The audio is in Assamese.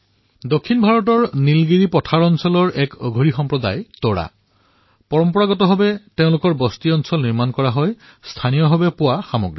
দক্ষিণ ভাৰতৰ নীলগিৰী পাহাৰৰ একান্ত ক্ষেত্ৰত এক সৰু সম্প্ৰদায়ে তেওঁলোকৰ ঘৰসমূহ স্থানীয় পৰ্যায়ত উপলব্ধ সামগ্ৰীৰ সহায়ত নিৰ্মাণ কৰে